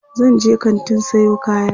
zanje kantin Sayo kaya